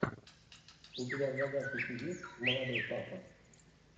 у тебя в загашнике есть молодой папа